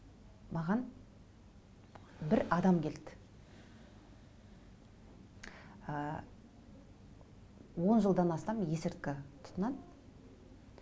маған бір адам келді ы он жылдан астам есірткі тұтынады